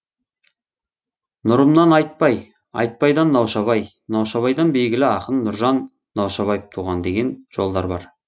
нұрымнан айтбай айтбайдан наушабай наушабайдан белгілі ақын нұржан наушабаев туған деген жолдар бар